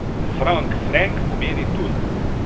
Frank, frenk pomeni tuj.